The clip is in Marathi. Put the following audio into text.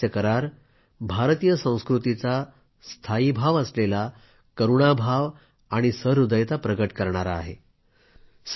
हा सहकार्य करार भारतीय संस्कृतीचा स्थायीभाव असलेल्या करूणाभाव आणि सुहृदयता प्रकट करतो